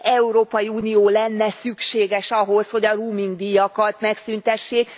Európai Unió lenne szükséges ahhoz, hogy a roamingdíjakat megszüntessék.